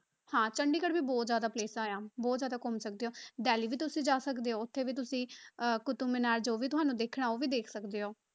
ਹਾਂ ਚੰਡੀਗੜ੍ਹ ਵੀ ਬਹੁਤ ਜ਼ਿਆਦਾ places ਆਂ ਬਹੁਤ ਜ਼ਿਆਦਾ ਘੁੰਮ ਸਕਦੇ ਹੋ, ਦਿੱਲੀ ਵੀ ਤੁਸੀਂ ਜਾ ਸਕਦੇ ਹੋ, ਉੱਥੇ ਵੀ ਤੁਸੀਂ ਅਹ ਕੁਤਬ ਮਿਨਾਰ ਜੋ ਵੀ ਤੁਹਾਨੂੰ ਦੇਖਣਾ ਉਹ ਵੀ ਦੇਖ ਸਕਦੇ ਹੋ।